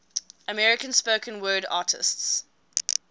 american spoken word artists